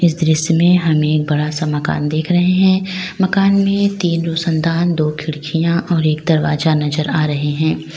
इस दृश्य में हमे बड़ा सा मकान देख रहे हैं मकान में तीन रोशनदान दो खिड़कियां और एक दरवाजा नजर आ रहे हैं।